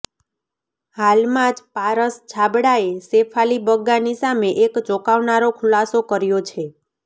હાલમાં જ પારસ છાબડાએ શેફાલી બગ્ગાની સામે એક ચોંકાવનારો ખુલાસો કર્યો છે